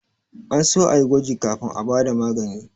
An so a yi gwaji kafin a ba da magani